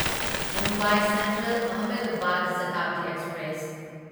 Mumbai central Ahmedabad Shatabdi express